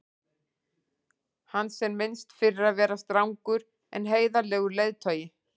hans er minnst fyrir að vera strangur en heiðarlegur leiðtogi